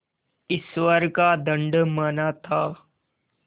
ईश्वर का दंड माना था